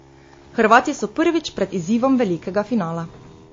Hrvati so prvič pred izzivom velikega finala.